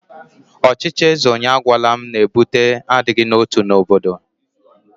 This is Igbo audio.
Ọchịchị eze onye agwala m na-ebute adịghị n'otu n'obodo.